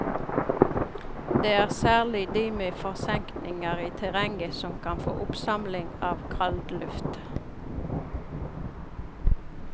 Det er særlig de med forsenkninger i terrenget som kan få oppsamling av kaldluft.